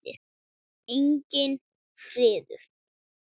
Enginn friður.